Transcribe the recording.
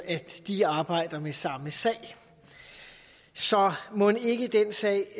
at de arbejder med samme sag så mon ikke den sag